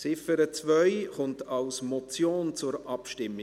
Die Ziffer 2 kommt als Motion zur Abstimmung.